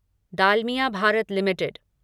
Dalmia Bharat limited